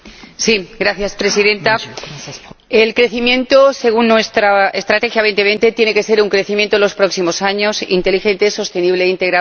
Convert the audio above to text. Señora Presidenta, el crecimiento según nuestra Estrategia 2020 tiene que ser un crecimiento en los próximos años inteligente, sostenible e integrador.